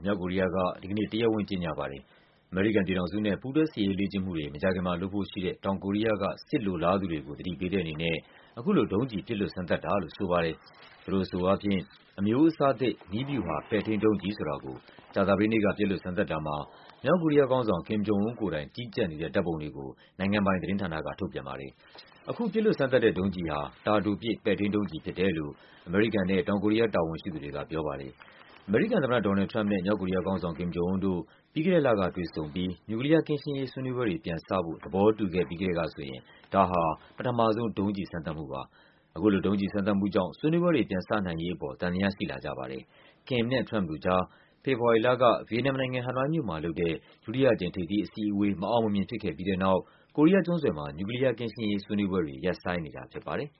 မြောက်ကိုရီးယားက ဒီကနေ့ တရားဝင် ကြေညာပါတယ်။ အမေရိကန်ပြည်ထောင်စုနဲ့ ပူးတွဲစစ်ရေးလေ့ကျင့်မှုတွေ မကြာခင်မှာလုပ်ဖို့ရှိတဲ့ တောင်ကိုရီးယားက စစ်လိုလားသူတွေကို သတိပေးတဲ့အနေနဲ့ အခုလို ဒုံးကျည် ပစ်လွှတ်စမ်းသပ်တာလို့ ဆိုပါတယ်။ သူတို့အဆိုအားဖြင့် အမျိုးအစားသစ် နည်းဗျူဟာ ပဲ့ထိန်းဒုံးကျည်ဆိုတာကို ကြာသပတေးနေ့က ပစ်လွှတ်စမ်းသပ်တာမှာ မြောက်ကိုရီးယားခေါင်းဆောင် Kim Jong Un ကိုယ်တိုင် ကြီးကြပ်နေတဲ့ ဓာတ်ပုံတွေကို နိုင်ငံပိုင်သတင်းဌာနက ထုတ်ပြန်ပါတယ်။ အခု ပစ်လွှတ်စမ်းသပ်တဲ့ ဒုံးကျည်ဟာ တာတိုပစ် ပဲ့ထိန်းဒုံးကျည်ဖြစ်တယ်လို့ အမေရိကန်နဲ့ တောင်ကိုရီးယား တာဝန်ရှိသူတွေကပြောပါတယ်။ အမေရိကန်သမ္မတ ဒေါ်နယ်လ်ဒ် ထရမ့်ပ်နဲ့ မြောက်ကိုရီးယားခေါင်းဆောင် Kim Jong Un တို့ ပြီးခဲ့တဲ့ လကတွေ့ဆုံပြီး နျူကလီးယား ကင်းရှင်းရေး ဆွေးနွေးပွဲတွေပြန်စဖို့ သဘောတူခဲ့ပြီးကတည်းကဆိုရင် ဒါဟာ ပထမဆုံးပြန်လုပ်တဲ့ ဒုံးကျည် စမ်းသပ်မှု ဖြစ်ပါတယ်။ အခုလို ဒုံးကျည်စမ်းသပ်မှုကြောင့် ဆွေးနွေးပွဲတွေ ပြန်စနိုင်ရေးအပေါ် သံသယရှိလာကြပါတယ်။ Kim နဲ့ ထရမ့်ပ်တို့ကြား ဖေဖော်ဝါရီလက ဗီယက်နမ်နိုင်ငံ၊ ဟနွိုင်းမြို့မှာလုပ်တဲ့ ဒုတိယအကြိမ် ထိပ်သီးအစည်းအဝေး မအောင်မမြင်ဖြစ်ခဲ့ပြီးတဲ့နောက် ကိုရီးယား ကျွန်းဆွယ်မှာ နျူကလီးယားကင်းရှင်းရေး ဆွေးနွေးပွဲတွေ ရပ်ဆိုင်းနေတာ ဖြစ်ပါတယ်